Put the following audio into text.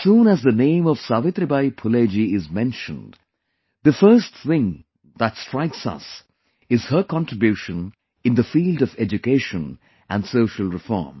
As soon as the name of Savitribai Phule ji is mentioned, the first thing that strikes us is her contribution in the field of education and social reform